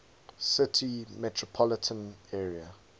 city metropolitan area